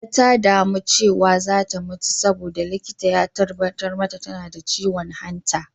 Nanak ta damu cewa za ta mutu saboda, likita ya tabbatar tana da ciwon hanta.